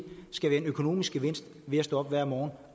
skal være en økonomisk gevinst ved at stå op hver morgen